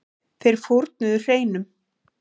Þeir fórnuðu hreinum.